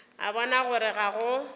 a bona gore ga go